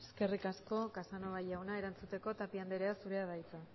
eskerrik asko casanova jauna erantzuteko tapia andrea zurea da hitza